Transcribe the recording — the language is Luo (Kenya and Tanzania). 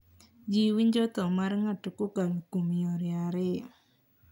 Ji winjo tho mar ng`ato kokalo kuom yore ariyo.